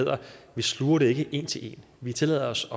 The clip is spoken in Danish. hedder vi sluger det ikke en til en vi tillader os